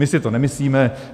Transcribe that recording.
My si to nemyslíme.